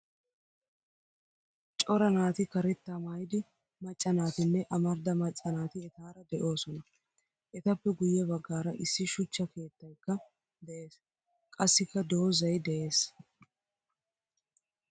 Cora naati karetta maayida macca naatinne amarida macca naati etaara deosona. Etappe guye baggaara issi shuchcha keettaykka de'ees. Qassika doozay de'ees.